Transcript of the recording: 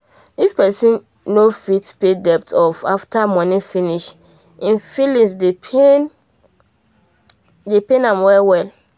if person not fit pay debt off after money finish e feeling dey pain feeling dey pain well well